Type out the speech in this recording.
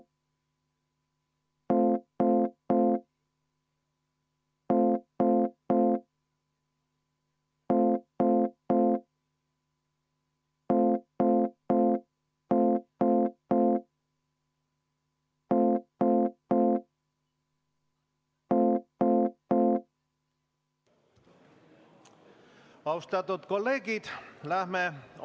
Austatud kolleegid!